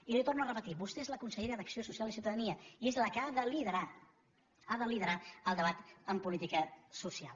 i li torno a repetir vostè és la consellera d’acció social i ciutadania i és la que ha de liderar ha de liderar el debat de política social